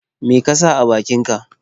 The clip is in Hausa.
Me ka sa a bakinka?